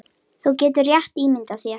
Þú getur rétt ímyndað þér!